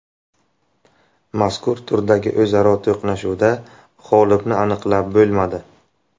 Mazkur turdagi o‘zaro to‘qnashuvda g‘olibni aniqlab bo‘lmadi.